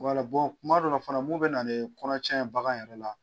Wala, bɔn kuma dɔ la fana mun bɛ na ni kɔnɔ cɛn bagan yɛrɛ la